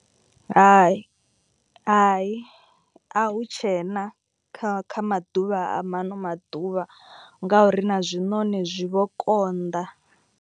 Hai hai a hu tshena kha kha maḓuvha a ma ano maḓuvha. Ngauri na zwiṋoni zwi vho konḓa.